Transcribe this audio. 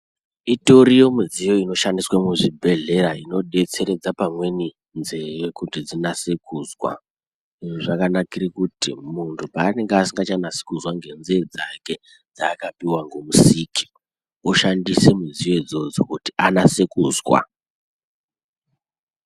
Itoriwo midziyo inoshandiswa muzvibhedhleya inodetseredza pamweni nzeve dzinyase kunzwa izvi zvakanakire kuti muntu paanenge asingachanyasi kuzwa ngenzee dzake dzakapuwa ngomusiki oshandisa midziyo idzodzo kuti anase kunzwa.